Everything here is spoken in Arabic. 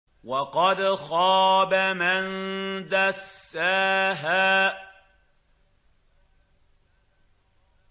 وَقَدْ خَابَ مَن دَسَّاهَا